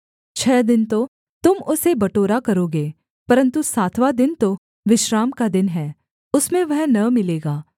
छः दिन तो तुम उसे बटोरा करोगे परन्तु सातवाँ दिन तो विश्राम का दिन है उसमें वह न मिलेगा